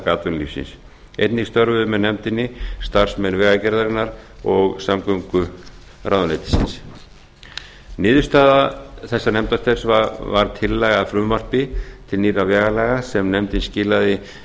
atvinnulífsins einnig störfuðu með nefndinni starfsmenn vegagerðarinnar og samgönguráðuneytisins niðurstaða þessa nefndarstarfs var tillaga að frumvarpi til nýrra vegalaga sem nefndin skilaði